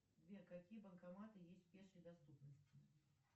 сбер какие банкоматы есть в пешей доступности